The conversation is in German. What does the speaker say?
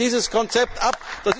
Wir lehnen dieses Konzept ab.